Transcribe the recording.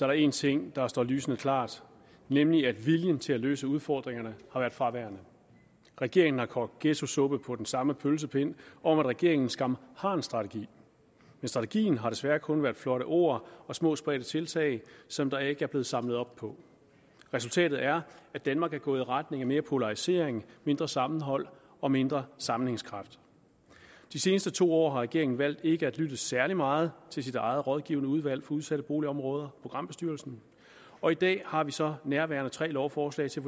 der en ting der står lysende klart nemlig at viljen til at løfte udfordringerne har været fraværende regeringen har kogt ghettosuppe på den samme pølsepind om at regeringen skam har en strategi men strategien har desværre kun været flotte ord og små spredte tiltag som der ikke er blevet samlet op på resultatet er at danmark er gået i retning af mere polarisering mindre sammenhold og mindre sammenhængskraft de seneste to år har regeringen valgt ikke at lytte særlig meget til sit eget rådgivende udvalg for udsatte boligområder programbestyrelsen og i dag har vi så nærværende tre lovforslag til